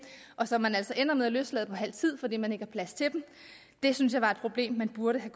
og som man altså ender med at løslade efter halv tid fordi man ikke har plads til dem det synes jeg problem man burde